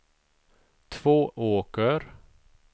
Tvååker